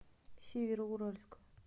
североуральска